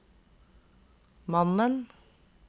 mannen